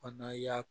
Fana y'a